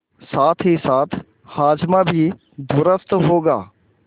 साथहीसाथ हाजमा भी दुरूस्त होगा